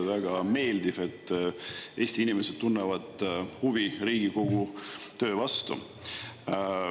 Väga meeldiv, et Eesti inimesed tunnevad huvi Riigikogu töö vastu.